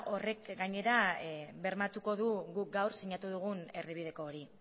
horrek gainera bermatuko du guk gaur sinatu dugun erdibideko hori